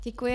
Děkuji.